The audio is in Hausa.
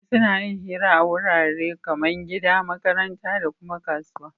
Mutane suna yin hira a warare kaman gida, makaranta dakuma kasuwa